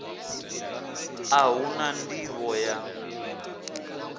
a hu na nḓivho ya